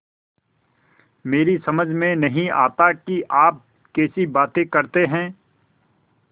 मेरी समझ में नहीं आता कि आप कैसी बातें करते हैं